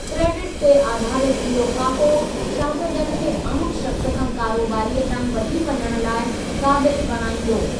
Credit ते आधारित इहो ख़ाको, शागिर्दनि खे आमु शख़्स खां कारोबारीअ ताईं वठी वञण लाइ क़ाबिल बणाईंदो।